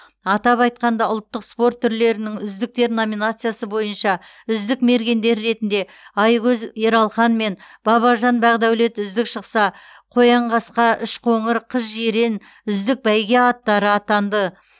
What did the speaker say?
атап айтқанда ұлттық спорт түрлерінің үздіктер номинациясы бойынша үздік мергендер ретінде айкөз ералхан мен бабажан бақдәулет үздік шықса қоянқасқа үшқоңыр қызжирен үздік бәйге аттары атанды